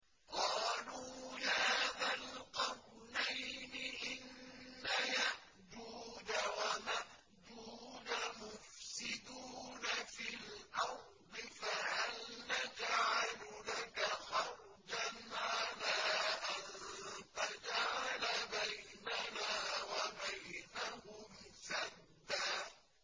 قَالُوا يَا ذَا الْقَرْنَيْنِ إِنَّ يَأْجُوجَ وَمَأْجُوجَ مُفْسِدُونَ فِي الْأَرْضِ فَهَلْ نَجْعَلُ لَكَ خَرْجًا عَلَىٰ أَن تَجْعَلَ بَيْنَنَا وَبَيْنَهُمْ سَدًّا